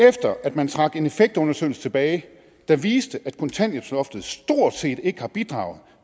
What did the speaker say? efter at man trak en effektundersøgelse tilbage der viste at kontanthjælpsloftet stort set ikke har bidraget